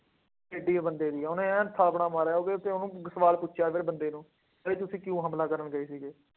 ਕਿੱਡੀ ਬੰਦੇ ਦੀ, ਉਹਨੇ ਐਨ ਥਾਪੜਾ ਮਾਰਿਆ, ਉਹਦੇ ਤੇ ਉਹਨੂੰ ਸਵਾਲ ਪੁੱਛਿਆ ਫੇਰ ਬੰਦੇ ਨੂੰ ਬਈ ਤੁਸੀਂ ਕਿਉਂ ਹਮਲਾ ਕਰਨ ਗਏ।